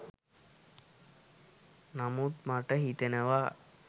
නමුත් මට හිතෙනවා